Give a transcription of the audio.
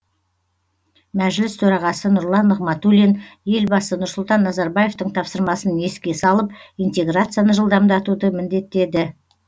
мәжіліс төрағасы нұрлан нығматулин елбасы нұрсұлтан назарбаевтың тапсырмасын еске салып интеграцияны жылдамдатуды міндеттеді